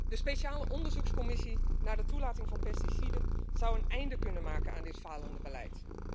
De speciale onderzoekscommissie naar de toelating van pesticiden zou een einde kunnen maken aan dit falende beleid.